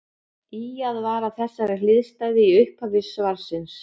Ýjað var að þessari hliðstæðu í upphafi svarsins.